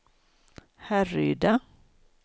Härryda